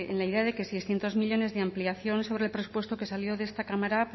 la idea de que seiscientos millónes de ampliación sobre el presupuesto que salió de esta cámara